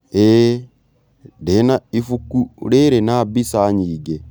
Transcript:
ĩĩ ndĩ na ibuku rĩrĩ na mbica nyingĩ.